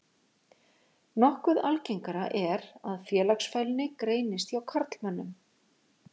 Nokkuð algengara er að félagsfælni greinist hjá karlmönnum.